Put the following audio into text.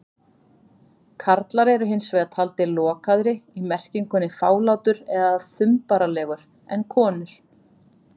Karlar eru hins vegar taldir lokaðri- í merkingunni fálátur eða þumbaralegur- en konur.